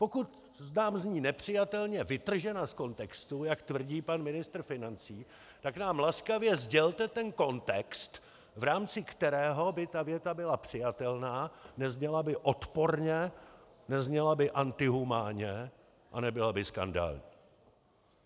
Pokud nám zní nepřijatelně vytržená z kontextu, jak tvrdí pan ministr financí, tak nám laskavě sdělte ten kontext, v rámci kterého by tato věta byla přijatelná, nezněla by odporně, nezněla by antihumánně a nebyla by skandální.